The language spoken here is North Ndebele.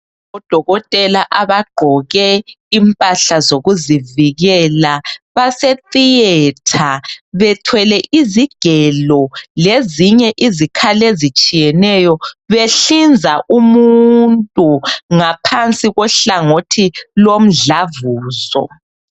Odokotela abagqoke impahla zokuzivikela base theater bethwele izigelo lezinye izikhali ezitshiyeneyo behlinza umuntu ngaphansi kohlangothi lomdlavuzo.